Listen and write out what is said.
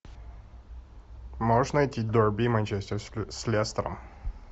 можешь найти дерби манчестер с лестером